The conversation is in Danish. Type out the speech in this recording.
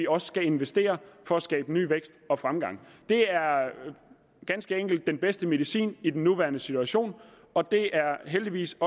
også skal investeres for at skabe ny vækst og fremgang det er ganske enkelt den bedste medicin i den nuværende situation og det er heldigvis